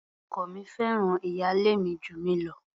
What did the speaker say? Ọkọ mi fẹ́ràn ìyálé mi jù mí lọ.